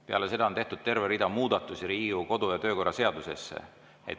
Peale seda on tehtud terve rida muudatusi Riigikogu kodu‑ ja töökorra seadusesse.